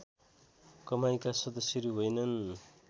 कमाइका सदश्यहरू होइनन्